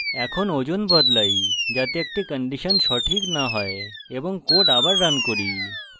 এখন ওজন বদলাই যাতে একটি condition সঠিক now হয় এবং code আবার রান করি